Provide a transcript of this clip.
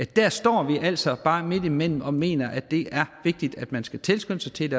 der står vi altså bare midtimellem og mener at det er vigtigt at man skal tilskyndes til